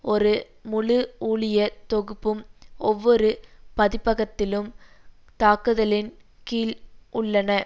ஒரு முழு ஊழியத் தொகுப்பும் ஒவ்வொரு பதிப்பகத்திலும் தாக்குதலின் கீழ் உள்ளன